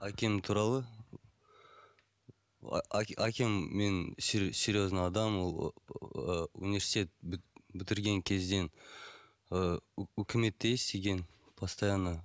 әкем туралы әкем менің серезный адам ол ыыы университет бітірген кезден ы үкіметте істеген постоянно